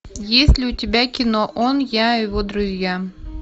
есть ли у тебя кино он я и его друзья